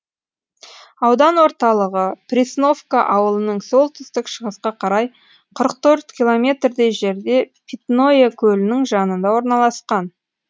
аудан орталығы пресновка ауылынан солтүстік шығысқа қарай қырық төрт километрдей жерде питное көлінің жанында орналасқан